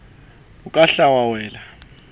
o ka hla wa wela